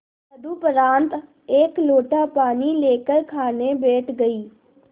तदुपरांत एक लोटा पानी लेकर खाने बैठ गई